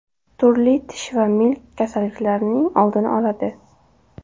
Turli tish va milk kasalliklarining oldini oladi.